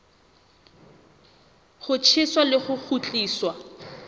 ho tjheswa le ho kgutliswa